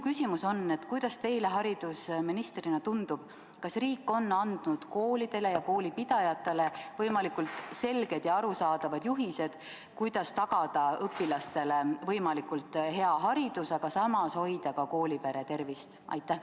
Kuidas teile haridusministrina tundub, kas riik on andnud koolidele ja koolipidajatele võimalikult selged ja arusaadavad juhised, kuidas tagada õpilastele võimalikult hea haridus, aga samas hoida ka koolipere tervist?